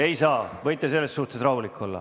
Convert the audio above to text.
Ei saa, võite selles suhtes rahulik olla.